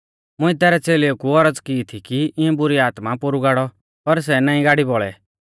मुंइऐ तैरै च़ेलेऊ कु औरज़ की थी कि इऐं बुरी आत्मा पोरु गाड़ौ पर सै नाईं गाड़ी बौल़ै